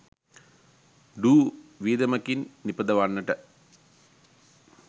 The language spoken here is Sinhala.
ඩු වියදමකින් නිපදවන්නට